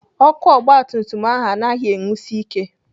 Ọkụ ọgbatumtum ahụ anaghị enwusi ike.